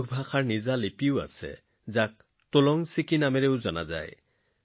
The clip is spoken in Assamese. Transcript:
কুৰুখৰ নিজা লিপিও আছে টলং ছিকি নামেৰে জনাজাত